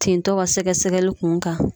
Tintɔ ka sɛgɛsɛgɛli kun kan.